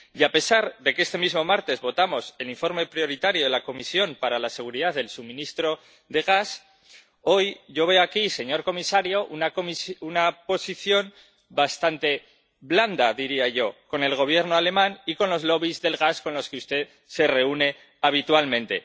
Y, a pesar de que este mismo martes votamos el informe prioritario de la Comisión para la seguridad del suministro de gas, hoy yo veo aquí, señor comisario, una posición bastante blanda —diría yo— con el Gobierno alemán y con los lobbies del gas, con los que usted se reúne habitualmente.